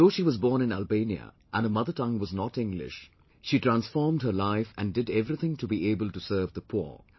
Though she was born in Albania and her mother tongue was not English, yet she transformed her life and did everything to be able to serve the poor